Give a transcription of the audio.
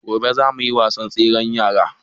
Gobe za mu yi wasan tsere da yaran